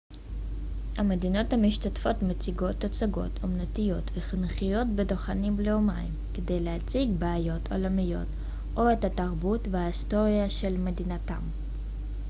המדינות המשתתפות מציגות תצוגות אומנותיות וחינוכיות בדוכנים לאומיים כדי להציג בעיות עולמיות או את התרבות וההיסטוריה של מדינתם